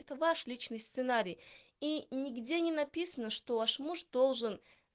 это ваш личный сценарий и нигде не написано что ваш муж должен